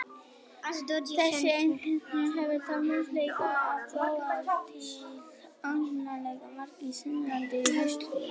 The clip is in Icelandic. Þessi eini vefþjónn hefur þá möguleika á að búa til óendanlega margar mismunandi vefsíður.